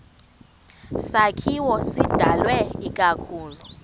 sakhiwo sidalwe ikakhulu